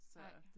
Nej